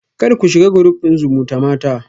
Kar ku shiga group din zumutamata